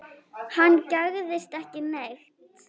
Hann gægðist ekki neitt.